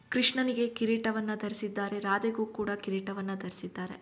ಕೃಷ್ಣನಿಗೆ ಕಿರೀಟವನ್ನು ಧರಿಸಿದಾರೆ ರಾಧೆಗೂ ಕೂಡ ಕಿರೀಟವನ್ನು ಧರಿಸಿದ್ದಾರೆ.